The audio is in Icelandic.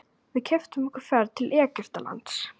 Við keyptum okkur ferð til Egyptalands.